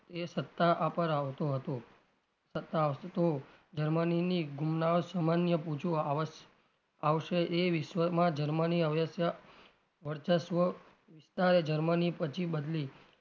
એ સત્તા પર આવતો હતો જર્મનીની ગુમનાવ સામાન્ય પૂજવા આવઆવશે એ વિશ્વમાં જર્મની અવશ્ય વર્ચસ્વ વિસ્તારે જર્મની પછી બદલી.